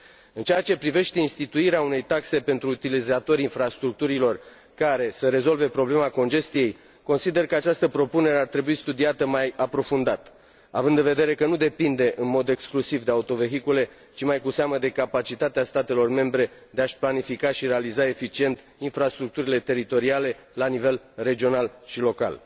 În ceea ce privește instituirea unei taxe pentru utilizatorii infrastructurilor care să rezolve problema congestiei, consider că această propunere ar trebui studiată mai aprofundat, având în vedere că nu depinde în mod exclusiv de autovehicule, ci mai cu seamă de capacitatea statelor membre de a și planifica și realiza eficient infrastructurile teritoriale la nivel regional și local.